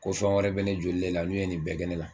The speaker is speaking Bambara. Ko wɛrɛ bɛ ne joli le la, n'o ye nin bɛɛ kɛ ne la.